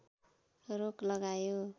रोक लगायो